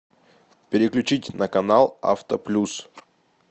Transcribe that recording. переключить на канал авто плюс